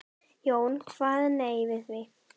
Jón kvað nei við því.